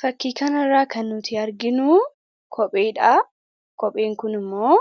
Fakkii kana irraa kan nuti arginu kopheedha. Kopheen kun immoo